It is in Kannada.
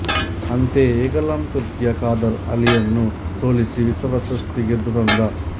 ಅಂತೆಯೇಗುಲಾಂ ತುರ್ಕಿಯ ಖಾದರ್ ಅಲಿಯನ್ನು ಸೋಲಿಸಿ ವಿಶ್ವಪ್ರಶಸ್ತಿ ಗೆದ್ದು ತಂದ